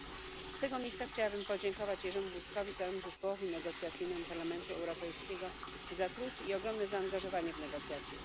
2. Z tego miejsca chciałabym podziękować Jerzemu Buzkowi i całemu zespołowi negocjacyjnemu Parlamentu Europejskiego za trud i ogromne zaangażowanie w negocjacje.